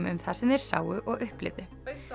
um það sem þeir sáu og upplifðu